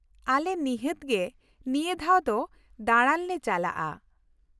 ᱟᱞᱮ ᱱᱤᱷᱟᱹᱛ ᱜᱮ ᱱᱤᱭᱟᱹ ᱫᱷᱟᱣ ᱫᱚ ᱫᱟᱬᱟᱱ ᱞᱮ ᱪᱟᱞᱟᱜᱼᱟ ᱾